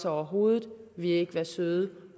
over hovedet vil i ikke være søde